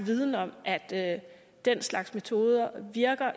viden om at den slags metoder virker